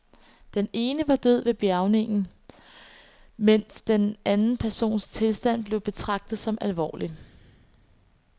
Den ene var død ved bjærgningen, mens den anden persons tilstand blev betegnet som alvorlig.